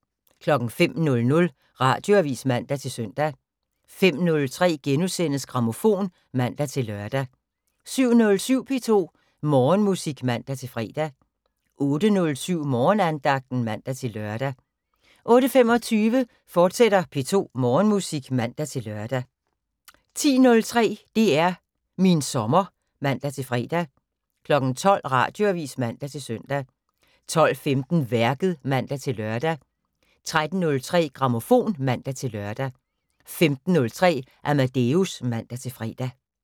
05:00: Radioavis (man-søn) 05:03: Grammofon *(man-lør) 07:07: P2 Morgenmusik (man-fre) 08:07: Morgenandagten (man-lør) 08:25: P2 Morgenmusik, fortsat (man-lør) 10:03: DR min sommer (man-fre) 12:00: Radioavis (man-søn) 12:15: Værket (man-lør) 13:03: Grammofon (man-lør) 15:03: Amadeus (man-fre)